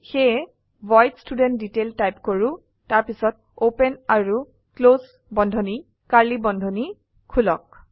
সেয়ে void student detail type কৰো তাৰপিছত ওপেন আৰু ক্লোস বন্ধনী কাৰ্লী বন্ধনী খুলক